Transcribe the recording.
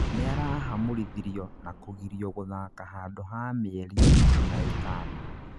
nĩarahamũrithirio na kũgirio gũthaka handũ ha mĩeri ikũmi na ĩtano